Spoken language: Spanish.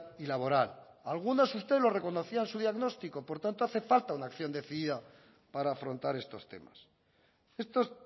y laboral algunos usted los reconocía en su diagnóstico por tanto hace falta una acción decidida para afrontar estos temas estos